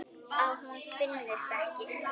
Að hún finnist ekki.